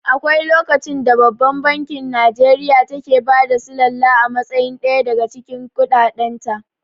Akwai lokacin da babban bankin Nijeriya take bada sullala a matsayin ɗaya daga cikin kuɗaɗen ta